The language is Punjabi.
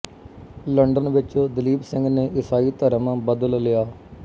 ਲੰਡਨ ਵਿੱਚ ਦਲੀਪ ਸਿੰਘ ਨੇ ਈਸਾਈ ਧਰਮ ਬਦਲ ਲਿਆ